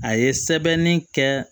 A ye sɛbɛnni kɛ